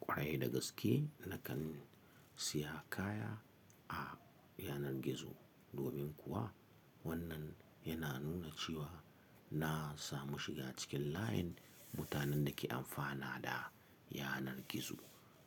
Kwarai da gaske nakan siya kaya a yanar gizo domin kuwa wannan yana nuna cewa na samu shiga cikin layin mutanen da ke amfana da yanar gizo.